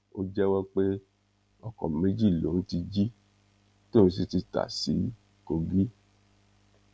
ó jẹwọ pé ọkọ méjì lòun ti jí tóun sì ti ta sí kogi